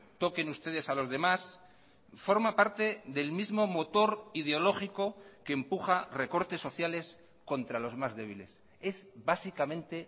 toquen ustedes a los demás forma parte del mismo motor ideológico que empuja recortes sociales contra los más débiles es básicamente